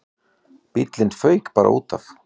Bíllinn fauk bara útaf.